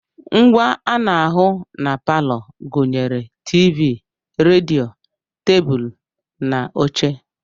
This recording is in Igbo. Ngwá ana ahụ na palọ gụnyere TV, redio, tebụlụ na oche.